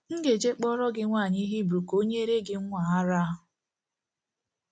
M̀ ga-eje kpọọrọ gị nwaanyị Hibru ka o nyere gị nwa a ara? ’